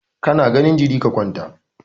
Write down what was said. Ka na ganin jiri, ka kwanta!